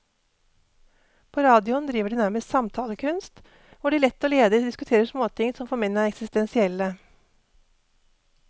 På radioen driver de nærmest samtalekunst, hvor de lett og ledig diskuterer småting som for menn er eksistensielle.